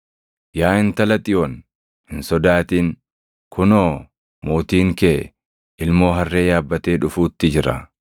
“Yaa Intala Xiyoon, hin sodaatin; kunoo, mootiin kee, ilmoo harree yaabbatee dhufuutti jira.” + 12:15 \+xt Zak 9:9\+xt*